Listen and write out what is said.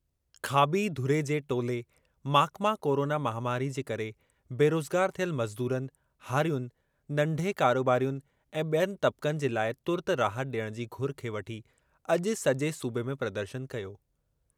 खाॿी धुरे जे टोले माकपा कोरोना महामारी जे करे बेरोज़गार थियल मज़दूरनि, हारियुनि, नंढे कारोबारियुनि ऐं ॿियनि तब्क़नि जे लाइ तुर्तु राहत ॾियणु जी घुर खे वठी अॼु सॼे सूबे में प्रदर्शन कयो।